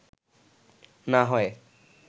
না হয়”